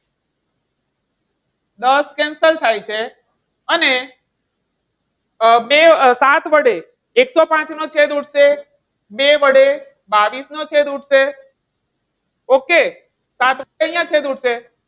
દસ cancel થાય છે. અને સાત વડે એકસોપાંચ નો છેદ ઉડશે. બે વડે બાવીસ નો છેદ ઉડશે. okay સાત અહીંયા છે છેદ ઉડશે.